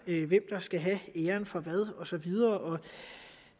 hvem der skal have æren for hvad og så videre